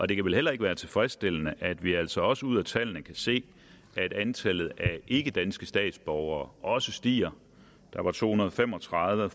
det kan vel heller ikke være tilfredsstillende at vi altså også ud af tallene kan se at antallet af ikkedanske statsborgere også stiger der var to hundrede og fem og tredive